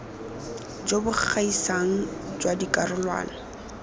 jo bo gaisang jwa dikarolwana